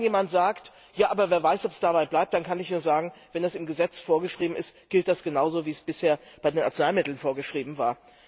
Und wenn dann jemand sagt Ja, aber wer weiß, ob es dabei bleibt, dann kann ich nur sagen, wenn das im Gesetz vorgeschrieben ist, gilt das genauso wie es bisher bei den Arzneimitteln vorgeschrieben war.